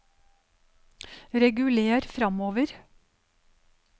reguler framover